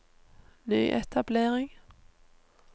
nyetablering